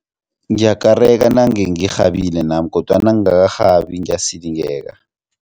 Ngiyakareka nange ngirhabile nami kodwana nangakarhabi ngiyasilingeka.